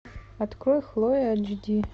открой хлоя эйч ди